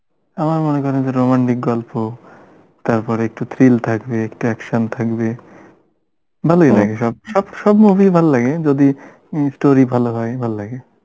আমার মনে করেন যে romantic গল্প তারপর একটু thrill থাকবে একটা action থাকবে ভালোই লাগে সব সব movie ই ভাললাগে যদি ই story ভালো হয়, ভাল লাগে